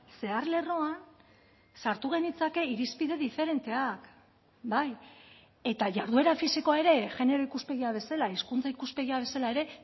zeharlerroan sartu genitzake irizpide diferenteak bai eta jarduera fisikoa ere genero ikuspegia bezala hizkuntza ikuspegia bezala ere